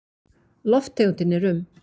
Lofttegundin er um